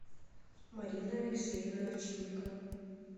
марина алексеевна овчинникова